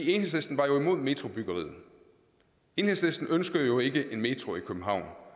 enhedslisten var imod metrobyggeriet enhedslisten ønsker jo ikke en metro i københavn